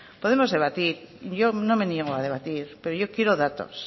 podemos debatir yo no me niego a debatir pero yo quiero datos